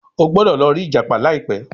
o gbódò lò ri ìjàpá laipe